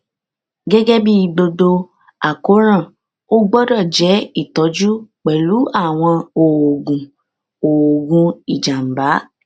gẹgẹ bí gbogbo àkóràn ó gbọdọ jẹ ìtọjú pẹlú àwọn oògùn oògùn ìjàmbá